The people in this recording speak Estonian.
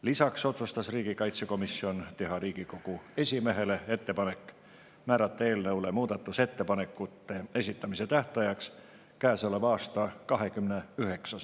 Lisaks otsustas riigikaitsekomisjon teha Riigikogu esimehele ettepaneku määrata eelnõu muudatusettepanekute esitamise tähtajaks käesoleva aasta.